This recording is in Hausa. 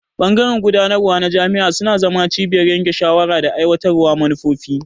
Bangaren gudanarwa na jami'a suna zama cibiyar yanke shawara da aiwatar da manufofi.